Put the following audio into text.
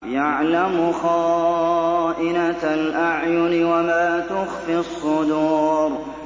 يَعْلَمُ خَائِنَةَ الْأَعْيُنِ وَمَا تُخْفِي الصُّدُورُ